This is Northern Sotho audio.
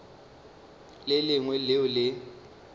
le le lengwe leo le